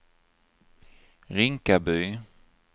Rinkaby